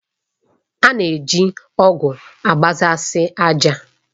A na-eji ọ̀gu agbasasi ájà.